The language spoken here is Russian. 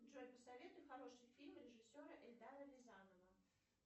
джой посоветуй хороший фильм режиссера эльдара рязанова